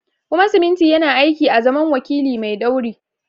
Kuma siminti yana aiki azaman wakili mai ɗauri.